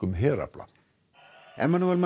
herafla